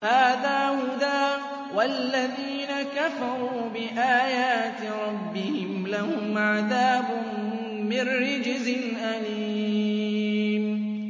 هَٰذَا هُدًى ۖ وَالَّذِينَ كَفَرُوا بِآيَاتِ رَبِّهِمْ لَهُمْ عَذَابٌ مِّن رِّجْزٍ أَلِيمٌ